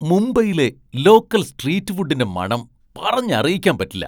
മുംബൈയിലെ local street ഫുഡിന്റെ മണം പറഞ്ഞറിയിക്കാൻ പറ്റില്ല .